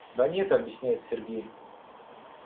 да нет объясняет сергей